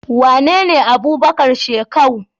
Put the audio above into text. Wanene Abubakar shekau?